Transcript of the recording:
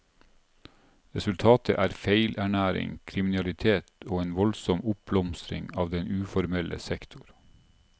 Resultatet er feilernæring, kriminalitet og en voldsom oppblomstring av den uformelle sektor.